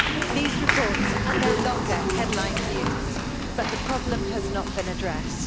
These reports are no longer headline news, but the problem has not been addressed.